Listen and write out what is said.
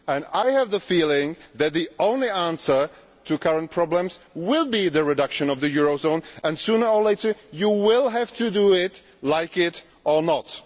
I have the feeling that the only answer to the current problems will be the reduction of the eurozone, and sooner or later this will have to be done, like it or not.